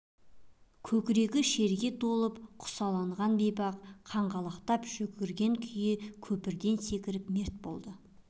көкірегі шерге толып құсаланған бейбақ қаңғалақтап жүгірген күйі көпірден секіріп мерт болады